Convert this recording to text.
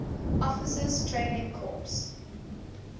officers training corps